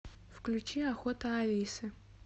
включи охота алисы